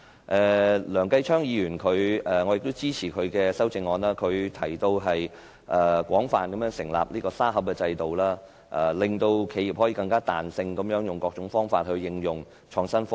我亦支持梁繼昌議員的修正案，他提出廣泛建立"沙盒"制度，令企業可以更具彈性地用各種方法應用創新科技。